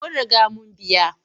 Mun riga mun biya.